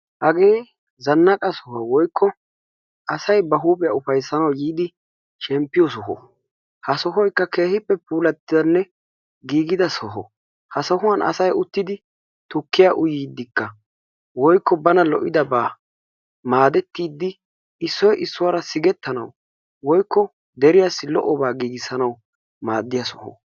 Hagee zannaqa soho woykko asay ba huuphiya ufayssanawu yiidi shemppiyo soho ha sohoykka keehippe puulatti uttidanne giigida soho. Ha sohuwan asayi uttidi tukkiya uyiiddikka woykko bana lo"idabaa maadettiiddi issoyi issuwara sigettanawu woykko deriyassi lo"obaa giigissanawu maaddiya soho.